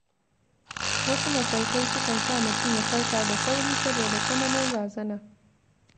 Wasu mafarkai sukan sa mutum ya farka da sauri saboda tsananin razana.